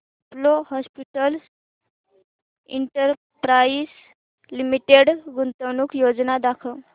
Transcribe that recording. Apollo Hospitals Enterprise Limited गुंतवणूक योजना दाखव